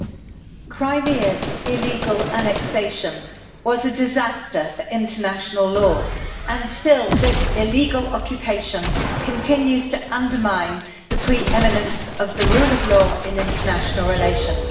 Mr President, Crimea's illegal annexation was a disaster for international law, and still this illegal occupation continues to undermine the pre eminence of the rule of law and international relations.